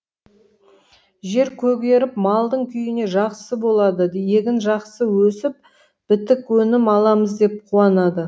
жер көгеріп малдың күйіне жақсы болады егін жақсы өсіп бітік өнім аламыз деп қуанады